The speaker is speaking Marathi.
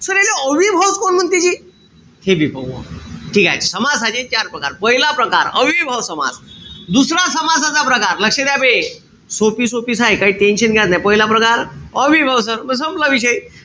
याले अव्ययीभावच काहून म्हणते जी. ते बी पाहू आपण. ठीकेय? समासाचे चार प्रकार. पहिला प्रकार अव्ययीभाव समास. दुसरा समासाचा प्रकार. लक्ष द्या बे. सोपी-सोपीच हाये. काई tension घ्याच नाई. पहिला प्रकार अव्ययीभाव समास. संपला विषय.